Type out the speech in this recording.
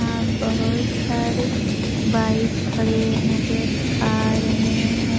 यहां बहोत सारे बाइक खड़े नजर आ रहे हैं।